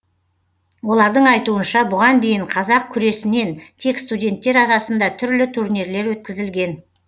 олардың айтуынша бұған дейін қазақ күресінен тек студенттер арасында түрлі турнирлер өткізілген